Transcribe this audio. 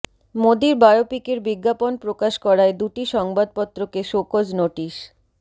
মোদীর বায়োপিকের বিজ্ঞাপন প্রকাশ করায় দুটি সংবাদপত্রকে শোকজ নোটিস